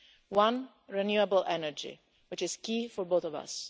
First, renewable energy, which is key for both of us.